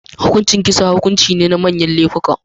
Hukuncin kisa hukunci ne na manyar lefuka